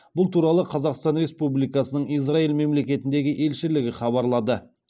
бұл туралы қазақстан республикасының израиль мемлекетіндегі елшілігі хабарлады